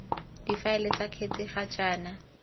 difaele ts kgetsi ga jaana